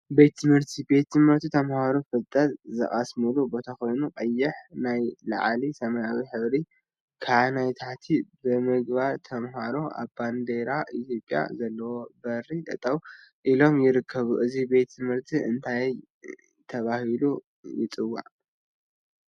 ቤት ትምህርቲ ቤት ትምህርቲ ተምሃሮ ፍልጠት ዝቀስምሉ ቦታ ኮይኑ፤ ቀይሕ ናይ ላዕሊ ሰማያዊ ሕብሪ ከዓ ናይ ታሕቲ ብምግባር ተምሃሮ አብ ባንዴራ ኢትዮጵያ ዘለዎ በሪ ጠጠወ ኢሎም ይርከቡ፡፡ እዚ ቤት ትምህርቲ እንዳ እንታይ ተባሂሉ ይፅዋዕ?